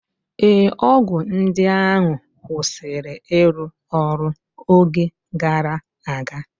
Ee, ọgwụ ndị ahụ kwụsịrị ịrụ ọrụ oge gara aga